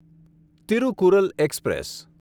Tirukkural express